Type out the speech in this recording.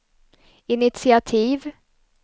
initiativ